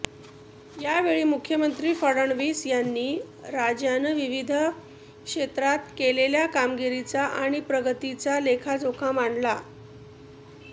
यावेळी मुख्यमंत्री फडणवीस यांनी राज्यानं विविध क्षेत्रात केलेल्या कामगिरीचा आणि प्रगतीचा लेखाजोखा मांडला